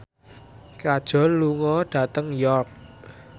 Kajol lunga dhateng York